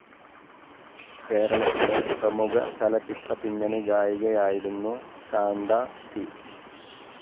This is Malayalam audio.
കേരളത്തിലെ പ്രമുഖ ചലച്ചിത്ര പിന്നണിഗായികയായിരുന്നു ശാന്ത പി.